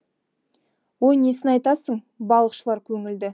ой несін айтасың балықшылар көңілді